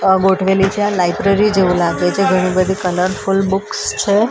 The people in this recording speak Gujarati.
આ લાઈબ્રરી જેવું લાગે છે. ઘણી બધી કોલોઉરફુલ બુક્સ છે અન--